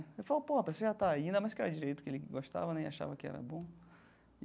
Ele falou, pô, a pessoa já está aí né, ainda mais que era do jeito que ele gostava né e achava que era bom.